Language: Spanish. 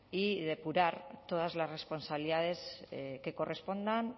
y depurar todas las responsabilidades que correspondan